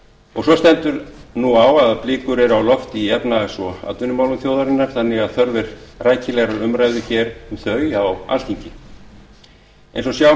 og svo stendur nú á að blikur eru á lofti í efnahags og atvinnumálum þjóðarinnar þannig að þörf er rækilegrar umræðu um þau hér á alþingi eins og sjá